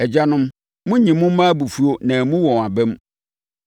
Agyanom, monnyi mo mma abufuo na ammu wɔn aba mu.